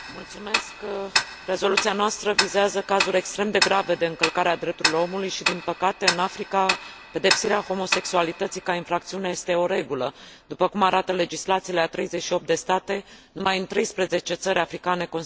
Rezoluția noastră vizează cazuri extrem de grave de încălcare a drepturilor omului și, din păcate, în Africa, pedepsirea homosexualității ca infracțiune este o regulă, după cum arată legislațiile a 38 de state, numai 13 țări africane considerând o legală.